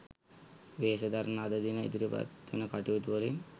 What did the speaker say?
වෙහෙස දරන අද දින ඉදිරිපත්වන කටයුතුවලින්